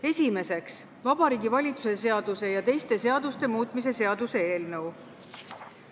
Esimeseks, Vabariigi Valitsuse seaduse ja teiste seaduste muutmise seaduse eelnõu.